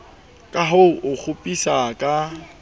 ka ho o kgopisa ka